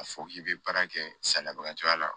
A fɔ k'i bɛ baara kɛ salabagatɔya la